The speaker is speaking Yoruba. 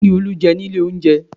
Kí ni Olú jẹ nílé oúnjẹ?